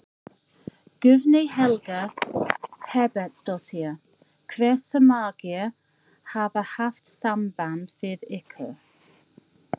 Guðný Helga Herbertsdóttir: Hversu margir hafa haft samband við ykkur?